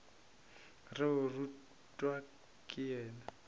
re o rutwa ke yena